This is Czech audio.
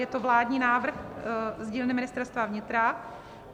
Je to vládní návrh z dílny Ministerstva vnitra.